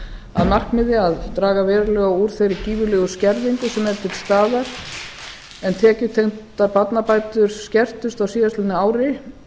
að markmiði að draga verulega úr þeirri gífurlegu skerðingu sem er til staðar en tekjutengdar barnabætur skertust á síðastliðnu ári